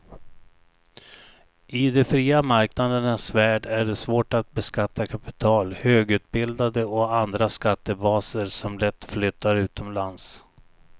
I de fria marknadernas värld är det svårt att beskatta kapital, högutbildade och andra skattebaser som lätt flyttar utomlands.